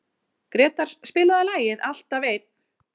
Gretar, spilaðu lagið „Alltaf einn“.